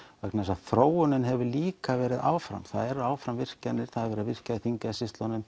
vegna þess að þróunin hefur líka verið áfram það eru áfram virkjanir það er verið að virkja í